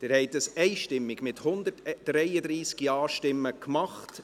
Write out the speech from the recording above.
Dies haben Sie einstimmig mit 133 Ja-Stimmen getan.